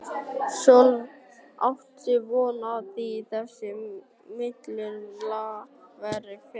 Sólveig: Áttu von á því að þessi miðlunartillaga verði felld?